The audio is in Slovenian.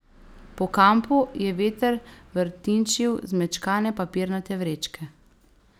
Po kampu je veter vrtinčil zmečkane papirnate vrečke.